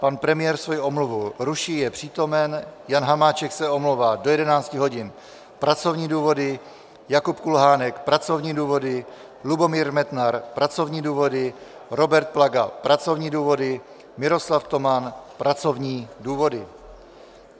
Pan premiér svou omluvu ruší, je přítomen, Jan Hamáček se omlouvá do 11 hodin, pracovní důvody, Jakub Kulhánek, pracovní důvody, Lubomír Metnar, pracovní důvody, Robert Plaga, pracovní důvody, Miroslav Toman, pracovní důvody.